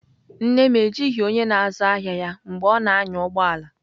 Nne m ejighị onye na-azụ ahịa ya mgbe ọ na-anya ụgbọ ala.